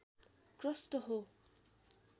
crust हो